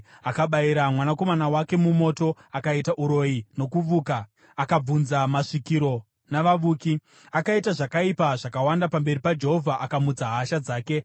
Akabayira mwanakomana wake mumoto, akaita uroyi nokuvuka, akabvunza masvikiro navavuki. Akaita zvakaipa zvakawanda pamberi paJehovha, akamutsa hasha dzake.